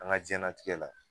An ka diɲɛlatigɛ la